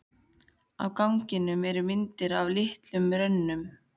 Á ganginum eru myndir í litlum römmum.